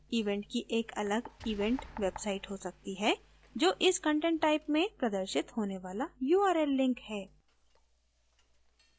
event की एक अलग event website हो सकती है जो इस content type में प्रदर्शित होने वाला url link है